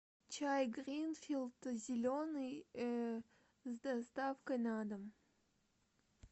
чай гринфилд зеленый с доставкой на дом